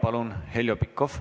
Palun, Heljo Pikhof!